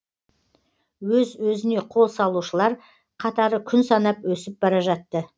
өз өзіне қол салушылар қатары күн санап өсіп бара жатты